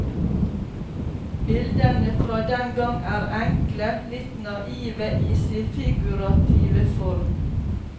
Bildene fra den gang er enkle, litt naive i sin figurative form.